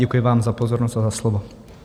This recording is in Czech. Děkuji vám za pozornost a za slovo.